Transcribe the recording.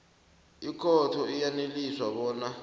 ikhotho iyaneliswa bona